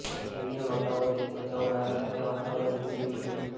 EVM હટાવો દેશ બચાવોના નારા સાથે વાતાવરણ ગુંજી ઉઠયું હતું